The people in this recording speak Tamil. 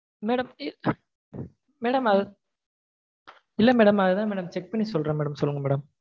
Madam madam அது இல்ல madam அதுதா madam check பண்ணி சொல்றேன் madam சொல்லுங்க madam